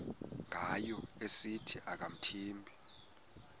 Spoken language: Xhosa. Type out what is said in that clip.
ngayo esithi akamthembi